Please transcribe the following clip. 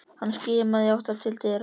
Hann skimaði í átt til dyra.